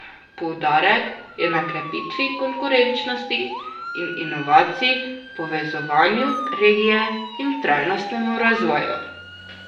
Poudarek je na krepitvi konkurenčnosti in inovacij, povezovanju regije in trajnostnemu razvoju.